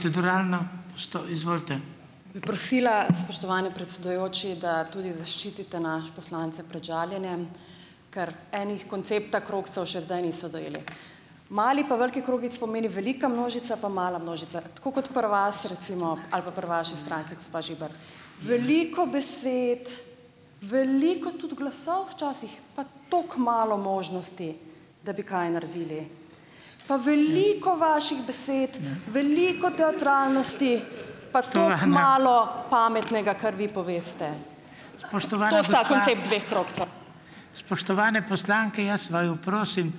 Bi prosila, spoštovani predsedujoči, da tudi zaščitite naše poslance pred žaljenjem, ker eni koncepta krogcev še zdaj niso dojeli. Mali pa veliki krogec pomeni velika množica pa mala množica tako kot pri vas recimo ali pa pri vaši stranki, gospa Veliko besed, veliko tudi glasov včasih pa tako malo možnosti, da bi kaj naredili. Pa veliko vaših besed, veliko teatralnosti pa tako malo pametnega, kar vi poveste.